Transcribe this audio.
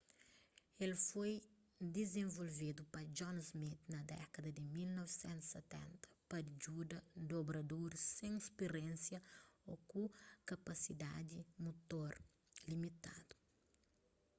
el foi dizenvolvedu pa john smith na dékada di 1970 pa djuda dobradoris sen spiriénsia ô ku kapasidadi mutor limitadu